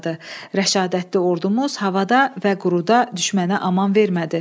Rəşadətli ordumuz havada və quruda düşmənə aman vermədi.